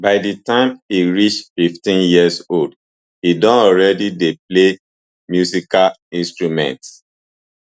by di time e reach fifteen years old e don already dey play musical instruments